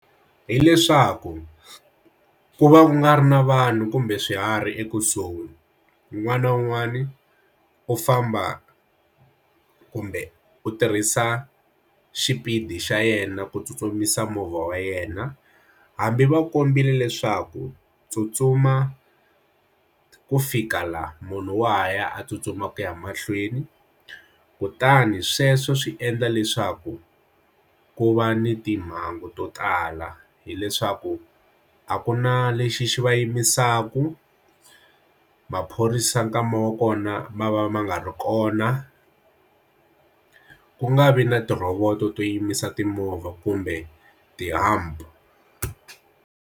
Hileswaku ku va u nga ri na vanhu kumbe swiharhi ekusuhi un'wana na un'wana u famba kumbe u tirhisa xipidi xa yena ku tsutsumisa movha wa yena hambi va kombiwe leswaku tsutsuma ku fika la munhu waha ya a tsutsuma ku ya mahlweni kutani sweswo swi endla leswaku ku va ni timhangu to tala hileswaku a ku na lexi va yimisaka maphorisa nkama wa kona ma va ma nga ri kona ku nga vi na ti rhovoto to yimisa timovha kumbe ti-hump.